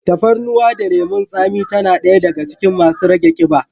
Tafarnuwa da lemun tsami tana daya daga cikin masu rage kiɓa.